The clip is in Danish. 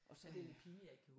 Og så det